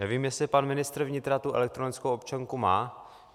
Nevím, jestli pan ministr vnitra tu elektronickou občanku má.